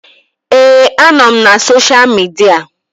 Ee, anọ m na sosha midia